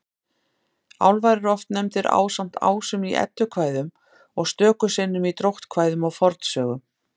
Álfar eru oft nefndir ásamt ásum í Eddukvæðum og stöku sinnum í dróttkvæðum og fornsögum.